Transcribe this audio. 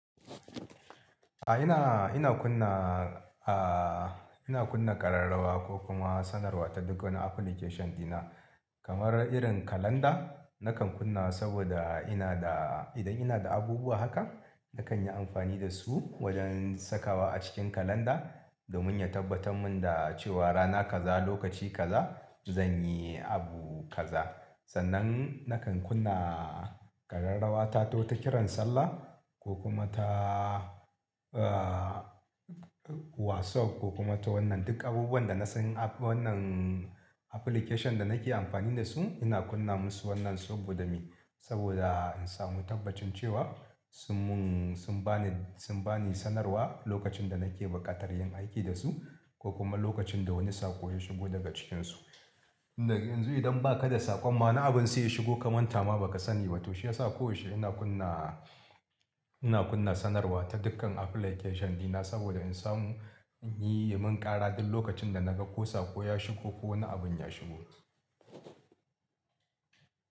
A ina, ina kunna, ah, ina kunna ƙararrawa ko kuma sanarwa ta duk wani application dina. Kamar irin kalanda, nakan kunna saboda ina da, idan ina da abubuwa haka, nakan yi amfani da su wajen sakawa a cikin kalanda, domin ya tabbatar mun da cewa rana kaza, lokaci kaza, zan yi abu kaza. Sannan nakan kunna ƙararrawata ta wata kiran sallah ko kuma ta, ah, WhatsApp ko kuma ta wannan duk abubuwan da na san, a wannan application da nake amfani da su. Ina kunna musu wannan saboda me? Saboda in samu tabbacin cewa sun mun, sun ba ni, sun ba ni sanarwa lokacin da nake buƙatar yin aiki da su, ko kuma lokacin da wani saƙo ya shigo daga cikinsu Daga yanzu idan ba ka da saƙon ma wana abun sai ya shigo kamantama ba ka sani ba to shi yasa koyaushe ina kunna, ina kunna sanarwa ta dukkan application dina saboda in samu, in yi, ya mun ƙara duk lokacin da naga ko saƙo ya shigo ko wani abun ya shigo.